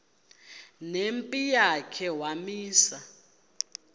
nempi yakhe wamisa